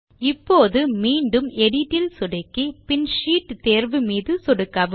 இப்போது மீண்டும் எடிட் இல் சொடுக்கி பின் ஷீட் தேர்வு மீதும் சொடுக்கவும்